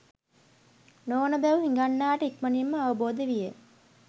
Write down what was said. නොවන බැව් හිඟන්නාට ඉක්මනින්ම අවබෝධ විය.